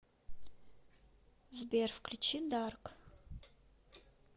сбер включи дарк